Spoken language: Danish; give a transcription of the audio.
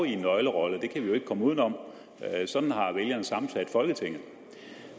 en nøglerolle det kan vi ikke komme uden om sådan har vælgerne sammensat folketinget